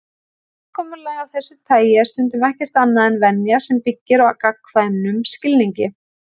Samkomulag af þessu tagi er stundum ekkert annað en venja sem byggir á gagnkvæmum skilningi.